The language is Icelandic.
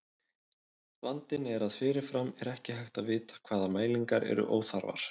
Vandinn er að fyrirfram er ekki hægt að vita hvaða mælingar eru óþarfar.